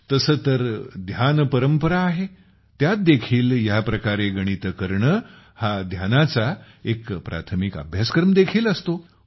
तसे तर ध्यान परंपरा आहे त्यात देखील ह्या प्रकारे गणिते करणे हा ध्यानाचा एक प्राथमिक अभ्यासक्रम देखील असतो